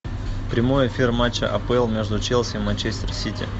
прямой эфир матча апл между челси манчестер сити